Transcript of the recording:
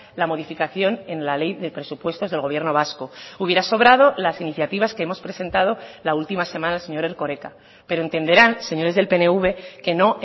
la modificación en la ley de presupuestos del gobierno vasco hubiera sobrado las iniciativas que hemos presentado la última semana señor erkoreka pero entenderán señores del pnv que no